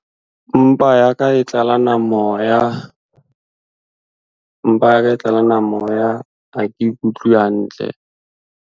Mpa ya ka e tlalana moya. Mpa ya ka e tlalana moya ha ke ikutlwe hantle.